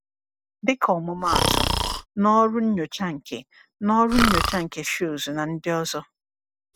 Dịka ọmụmaatụ, n’ọrụ nyocha nke n’ọrụ nyocha nke Schultz na ndị ọzọ.